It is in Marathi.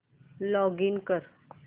लॉगिन कर